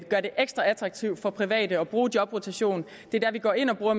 gør det ekstra attraktivt for private at bruge jobrotation det er der vi går ind og bruger